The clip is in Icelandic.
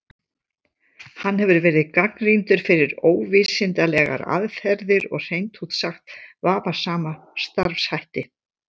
Hann hefur verið gagnrýndur fyrir óvísindalegar aðferðir og hreint út sagt vafasama starfshætti.